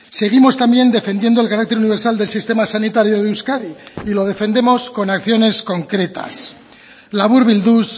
seguimos también defendiendo el carácter universal del sistema sanitario de euskadi y lo defendemos con acciones concretas laburbilduz